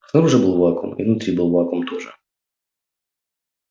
снаружи был вакуум и внутри был вакуум тоже